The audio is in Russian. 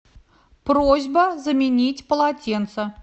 просьба заменить полотенце